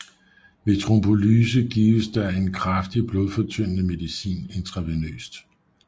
Ved trombolyse gives der en kraftig blodfortyndende medicin intravenøst